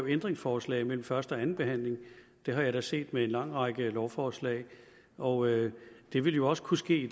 ændringsforslag mellem første og anden behandling det har jeg da set med en lang række lovforslag og det ville jo også kunne ske